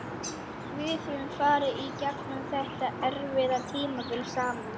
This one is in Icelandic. Við höfum farið í gegnum þetta erfiða tímabil saman.